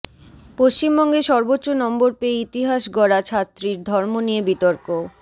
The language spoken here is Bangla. পশ্চিমবঙ্গে সর্বোচ্চ নম্বর পেয়ে ইতিহাস গড়া ছাত্রীর ধর্ম নিয়ে বিতর্ক